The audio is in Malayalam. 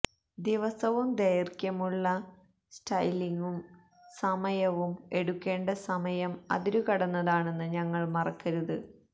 ദിവസവും ദൈർഘ്യമുള്ള സ്റ്റൈലിംഗും സമയവും എടുക്കേണ്ട സമയം അതിരുകടന്നതാണെന്ന് ഞങ്ങൾ മറക്കരുത്